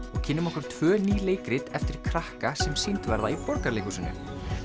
og kynnum okkur tvö ný leikrit eftir krakka sem sýnd verða í Borgarleikhúsinu